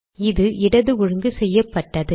இது இடது ஒழுங்கு செய்யப்பட்டது